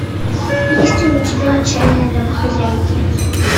есть ли у тебя отчаянные домохозяйки